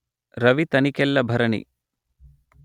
Ravi Tanikella Bharani